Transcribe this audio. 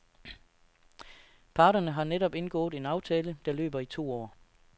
Parterne har netop indgået en aftale, der løber i to år.